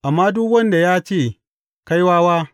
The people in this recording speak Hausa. Amma duk wanda ya ce, Kai wawa!’